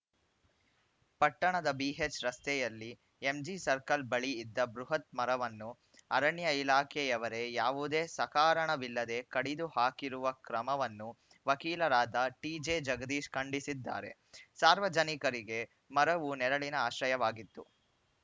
ಪಟ್ಟಣದ ಬಿಎಚ್‌ ರಸ್ತೆಯಲ್ಲಿ MG circle ಬಳಿ ಇದ್ದ ಬೃಹತ್‌ ಮರವನ್ನು ಅರಣ್ಯ ಇಲಾಖೆಯವರೇ ಯಾವುದೇ ಸಕಾರಣವಿಲ್ಲದೆ ಕಡಿದು ಹಾಕಿರುವ ಕ್ರಮವನ್ನು ವಕೀಲರಾದ ಟಿಜೆ ಜಗದೀಶ್‌ ಖಂಡಿಸಿದ್ದಾರೆ ಸಾರ್ವಜನಿಕರಿಗೆ ಮರವು ನೆರಳಿನ ಆಶ್ರಯವಾಗಿತ್ತು